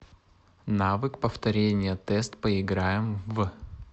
навык повторение тест поиграем в